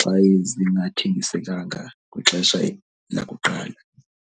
xa zingathengisenkanga kwixesha lakuqala.